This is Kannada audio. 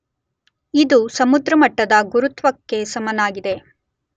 ಇದು ಸಮುದ್ರಮಟ್ಟದ ಗುರುತ್ವಕ್ಕೆ ಸಮನಾಗಿದೆ.